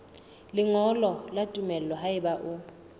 lengolo la tumello haeba o